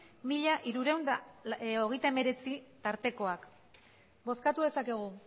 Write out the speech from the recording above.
mila hirurehun eta hogeita hemeretzi tartekoak bozkatu dezakegu